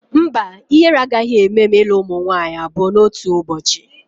Mba, ihere agaghị eme m ilu ụmụ nwaanyị abụọ n'otu ụbọchị